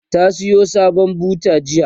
ta Sayo sabon buta jiya